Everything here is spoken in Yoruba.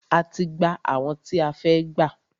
A ti gbà àwọn tí a fẹ́ gbà.